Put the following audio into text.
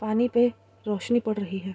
पानी पे रोशनी पड़ रही है।